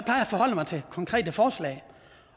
forholde mig til konkrete forslag